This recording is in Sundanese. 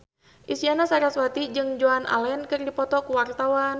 Isyana Sarasvati jeung Joan Allen keur dipoto ku wartawan